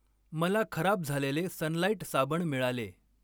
मला खराब झालेले सनलाईट साबण मिळाले.